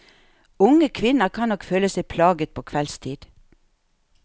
Unge kvinner kan nok føle seg plaget på kveldstid.